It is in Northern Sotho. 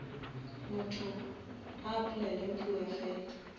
motho a applyele mphiwafela